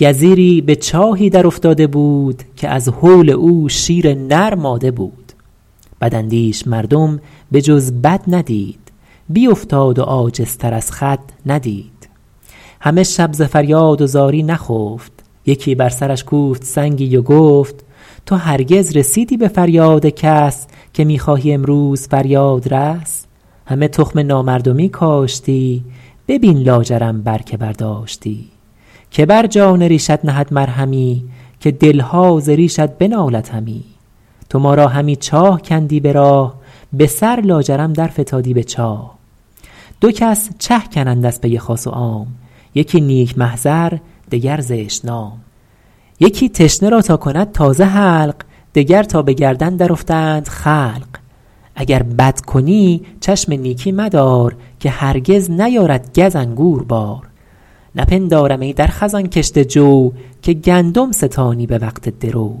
گزیری به چاهی در افتاده بود که از هول او شیر نر ماده بود بداندیش مردم به جز بد ندید بیافتاد و عاجزتر از خود ندید همه شب ز فریاد و زاری نخفت یکی بر سرش کوفت سنگی و گفت تو هرگز رسیدی به فریاد کس که می خواهی امروز فریادرس همه تخم نامردمی کاشتی ببین لاجرم بر که برداشتی که بر جان ریشت نهد مرهمی که دلها ز ریشت بنالد همی تو ما را همی چاه کندی به راه به سر لاجرم در فتادی به چاه دو کس چه کنند از پی خاص و عام یکی نیک محضر دگر زشت نام یکی تشنه را تا کند تازه حلق دگر تا به گردن در افتند خلق اگر بد کنی چشم نیکی مدار که هرگز نیارد گز انگور بار نپندارم ای در خزان کشته جو که گندم ستانی به وقت درو